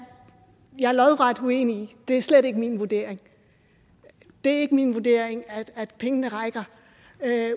jeg lodret uenig i det er slet ikke min vurdering det er ikke min vurdering at pengene rækker